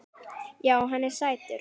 Já, hann er sætur.